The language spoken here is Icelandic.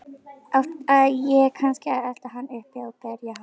Átti ég kannski að elta hann uppi og berja hann?